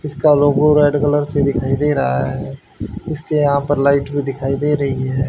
इसका logo red colour से दिखाई दे रहा है इसके यहां पर लाइट भी दिखाई दे रही है।